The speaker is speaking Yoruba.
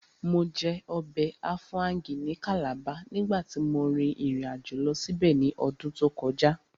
Mo jẹ ọbẹ̀ áfáúngì ní Calabar nígbàtí mo rìn ìrìnàjò lọ síbẹ̀ ní ọdún tó kọjá